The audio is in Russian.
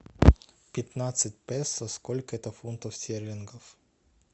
пятнадцать песо сколько это фунтов стерлингов